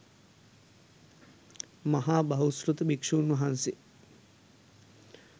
මහා බහුශ්‍රැත භික්‍ෂූන් වහන්සේ